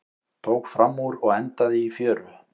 Tók framúr og endaði í fjöru